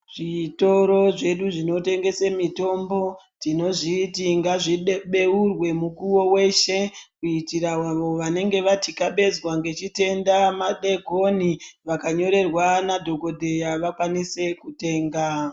Zvitoro zvedu zvinotengese mitombo tinozviti ngazvibeurwe mukuwo weshe kuitira avo vanenge vatyabezwa nechitenda madeekoni vakanyorerwa nadhogodheya vakwanise kutenga.